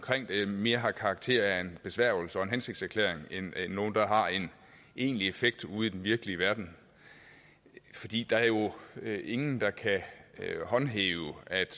det mere har karakter af en besværgelse og en hensigtserklæring end noget der har en egentlig effekt ude i den virkelige verden fordi der er jo ingen der kan håndhæve at